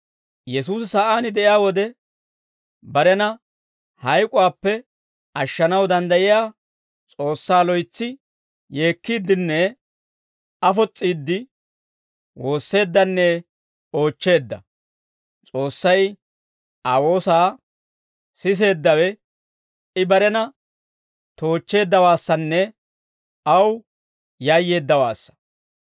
Yesuusi sa'aan de'iyaa wode, barena hayk'uwaappe ashshanaw danddayiyaa S'oossaa loytsi yeekkiiddenne afos's'iidde woosseeddanne oochcheedda; S'oossay Aa woosaa siseeddawe, I barena toochcheeddawaassanne aw yayyeeddawaassa.